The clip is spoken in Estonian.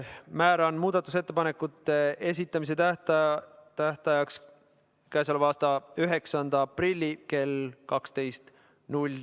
Määran muudatusettepanekute esitamise tähtajaks k.a 9. aprilli kell 12.